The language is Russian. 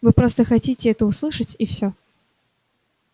вы просто хотите это услышать и всё